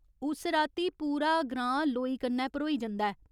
उस राती पूरा ग्रां लोई कन्नै भरोई जंदा ऐ।